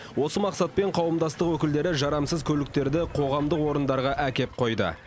осы мақсатпен қауымдастық өкілдері жарамсыз көліктерді қоғамдық орындарға әкеп қойды